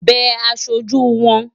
Bẹ aṣojú wọn!